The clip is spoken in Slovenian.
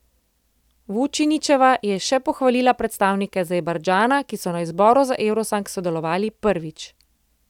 Vučinićeva je še pohvalila predstavnike Azerbajdžana, ki so na izboru za evrosong sodelovali prvič.